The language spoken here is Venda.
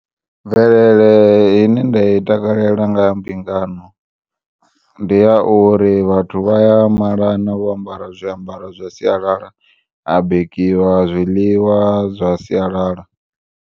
Mvelele ine nda i takalela ngaha mbingano ndi ya uri vhathu vha ya malana vho ambara zwiambaro zwa sialala ha bikiwa zwiḽiwa zwa sialala.